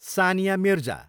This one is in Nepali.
सानिया मिर्जा